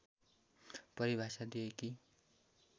परिभाषा दिए कि